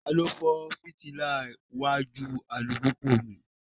Tani o fọ fitila wajú alupupu mi?